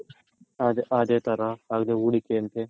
ಅದೆ ಅದೆ ತರ ಅದೆ ಹೂಡಿಕೆ ಅಂತೆ.